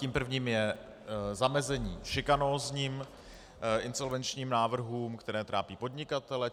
Tím prvním je zamezení šikanózním insolvenčním návrhům, které trápí podnikatele.